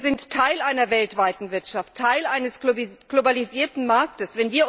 Wir sind Teil einer weltweiten Wirtschaft, Teil eines globalisierten Marktes.